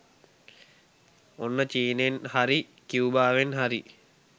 ඔන්න චීනෙන් හරි කියුබාවෙන් හරි